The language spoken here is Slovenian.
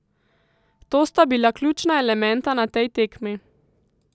To sta bila ključna elementa na tej tekmi.